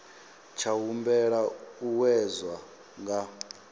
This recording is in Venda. tsha humbela u wedzwa nga